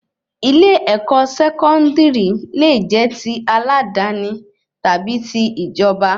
Ilé-èkó sẹkọndiri lẹ jẹ tí aladani tàbí tí ìjọba